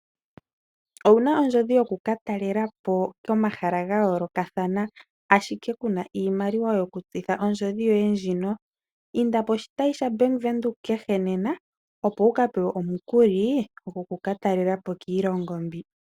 Owuna ondjodhi yoku ka talela po komahala ga yoolokathana ashike kuna iimaliwa yoku gwanitha po ondjodhi yoye ndjika? Inda poshitayi shaBank Windhoek kehe nena opo wuka pewe omukuli goku ka talela po kiilongo mbi.